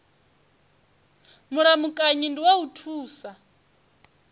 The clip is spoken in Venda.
mulamukanyi ndi wa u thusa